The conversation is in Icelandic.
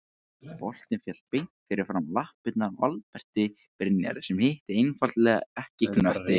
Boltinn féll beint fyrir framan lappirnar á Alberti Brynjari sem hitti einfaldlega ekki knöttinn.